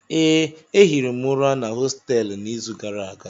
Ee, ehiri m ụra na hostelụ n'izu gara aga.